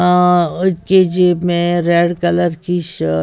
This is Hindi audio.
अह उनकी जेब में रेड कलर की शर्ट --